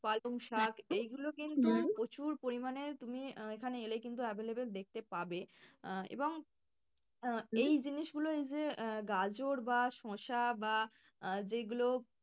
পালংশাক এইগুলো প্রচুর পরিমাণে তুমি আহ এইখানে এলেই কিন্তু available দেখতে পাবে আহ এবং এই জিনিস গুলো এই যে আহ গাজর বা শসা বা আহ যেই গুলো,